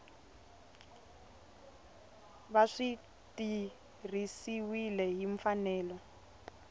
va swi tirhisiwile hi mfanelo